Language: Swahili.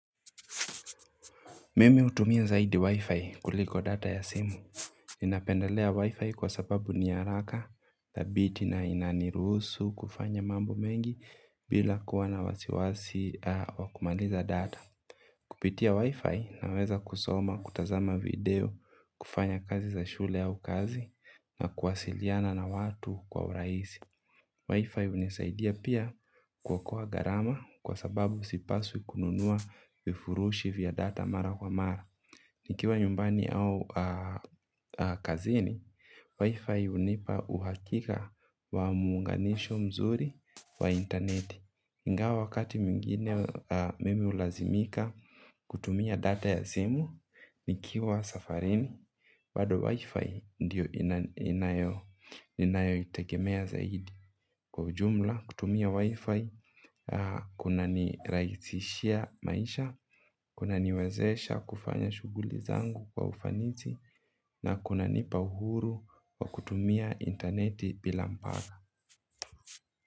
Mimi utumia zaidi wi-fi kuliko data ya simu. Ninapendelea wi-fi kwa sababu niyaraka, dhabiti na inanirusu kufanya mambo mengi bila kuwa na wasiwasi wakumaliza data. Kupitia wi-fi naweza kusoma, kutazama video, kufanya kazi za shule au kazi na kuwasiliana na watu kwa uraisi. Wi-Fi unisaidia pia kuwokoa garama kwa sababu sipaswi kununua vifurushi vya data mara kwa mara. Nikiwa nyumbani au kazini, wi-Fi unipa uhakika wa muunganisho mzuri wa interneti. Ingawa wakati mwingine mimi ulazimika kutumia data ya simu, nikiwa safarini, bado wi-fi ndiyo ninayoitegemea zaidi. Kwa jumla, kutumia wi-fi, kuna niraisishia maisha, kuna niwezesha kufanya shuguli zangu kwa ufanizi, na kuna nipa uhuru wa kutumia interneti bila mpaka.